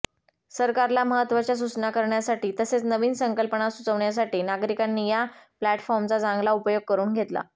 सरकारला महत्वाच्या सुचना करण्यासाठी तसेच नवीन संकल्पना सुचवण्यासाठी नागरीकांनी या प्लॅटफॉर्मचा चांगला उपयोग करून घेतला